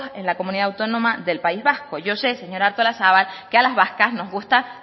en la comunidad autónoma del país vasco yo sé señora artolazabal que a las vascas nos gusta